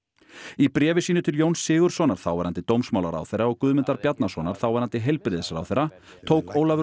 í bréfi sínu til Jóns Sigurðssonar þáverandi dómsmálaráðherra og Guðmundar Bjarnasonar þáverandi heilbrigðisráðherra tók Ólafur